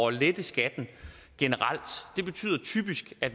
at lette skatten generelt det betyder typisk at